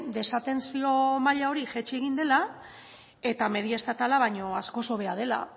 desatentzio maila hori jaitsi egin dela eta media estatala baino askoz hobea dela